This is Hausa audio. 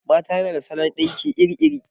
Mata na da salon ɗinki iri iri